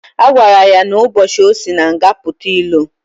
Agwara ya na ụbochi osi na nga puta ilo.